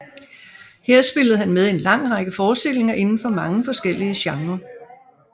Her spillede han med i en lang række forestillinger inden for mange forskellige genrer